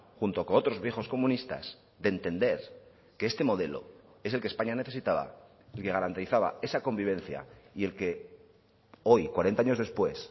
junto con otros viejos comunistas de entender que este modelo es el que españa necesitaba y que garantizaba esa convivencia y el que hoy cuarenta años después